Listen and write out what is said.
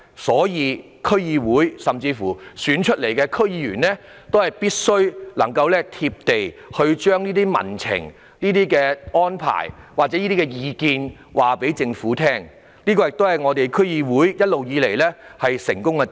因此，區議會及經由投票選出的區議員必須"貼地"，將民情或意見向政府反映，這亦是一直以來區議會的成功之處。